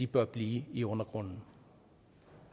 bør blive i undergrunden